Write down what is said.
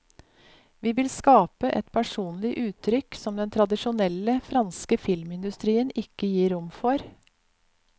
Vi vil skape et personlig uttrykk som den tradisjonelle franske filmindustrien ikke gir rom for.